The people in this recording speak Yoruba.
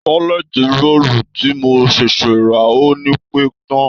tọ́lẹt roòlù tí mo ṣẹ̀ṣẹ̀ rà ò ní pẹ́ tán